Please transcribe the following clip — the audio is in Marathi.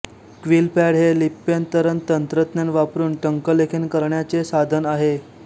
क्विलपॅड हे लिप्यंतरणतंत्रज्ञान वापरून टंकलेखन करण्याचे साधन आहे